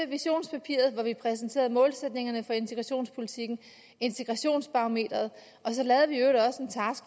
visionspapiret hvor vi præsenterede målsætningerne for integrationspolitikken integrationsbarometeret